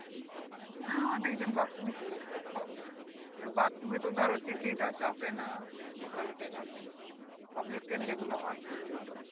হ্যাঁ অনেক জন bathroom এ চলে এসেছে bathroom এ তো ধরো TT টা চাপেনা local train public train যে গুলো হয় সেগুলোর